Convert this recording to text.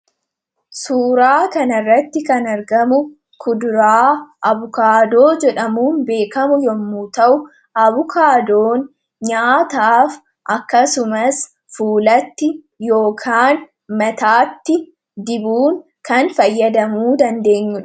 suuraa kana irratti kan argamu kuduraa abukaadoo jedhamuun beekamu yommu ta'u. Abukaadoon nyaataaf akkasumas fuulatti yookaan mataatti dibuun kan fayyadamuu dandeenyudha.